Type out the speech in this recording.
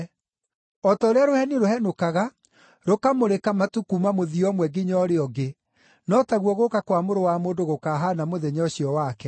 O ta ũrĩa rũheni rũhenũkaga rũkamũrĩka matu kuuma mũthia ũmwe nginya ũrĩa ũngĩ, no taguo gũũka kwa Mũrũ wa Mũndũ gũkahaana mũthenya ũcio wake.